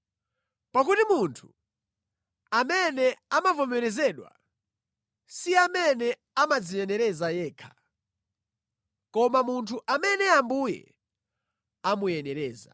Pakuti munthu amene amavomerezedwa, si amene amadziyenereza yekha, koma munthu amene Ambuye amuyenereza.